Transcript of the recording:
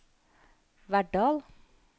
Verdal